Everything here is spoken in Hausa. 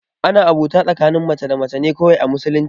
Ana abota tsakanin mace da mace ne kawai a musulunci